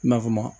Nafama